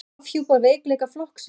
Afhjúpar veikleika flokksins